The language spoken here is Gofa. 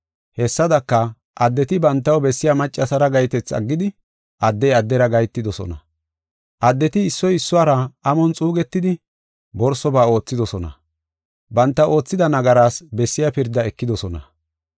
Hessadaka, addeti bantaw bessiya maccasara gahetethi aggidi, addey addera gahetidosona. Addeti issoy issuwara amon xuugetidi, borsoba oothidosona. Banta oothida nagaraas bessiya pirdaa ekidosona.